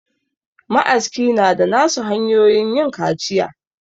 Ma aska na da na su hanyoyin yin kaciya